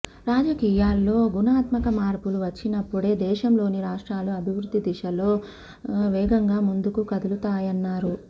రాజకీయాల్లో గుణాత్మక మార్పులు వచ్చినప్పుడే దేశంలోని రాష్ట్రాలు అభివృద్ధి దిశలో వేగంగా ముందుకు కదులుతాయన్నారు